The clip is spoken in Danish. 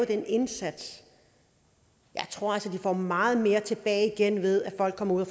den indsats jeg tror altså de får meget mere tilbage igen ved at folk kommer